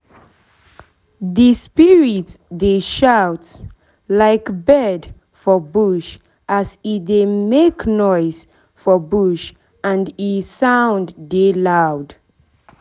the spirit dey shout like bird for bush as e dey make noise for bush and e sound dey loud